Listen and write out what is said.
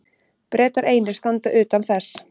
Bretar einir standa utan þess.